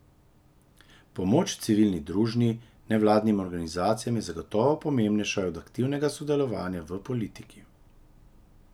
Pomoč civilni družni, nevladnim organizacijam je zagotovo pomembnejša od aktivnega sodelovanja v politiki.